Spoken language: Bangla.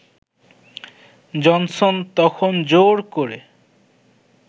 জনসন তখন জোর করে